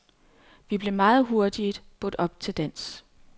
Vi blev meget hurtigt budt op til dans.